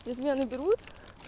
наберут